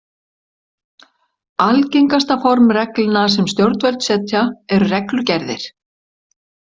Algengasta form reglna sem stjórnvöld setja eru reglugerðir.